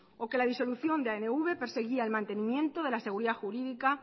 o que la disolución de anv perseguía el mantenimiento de la